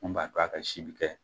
Min b'a to a ka si bi kɛ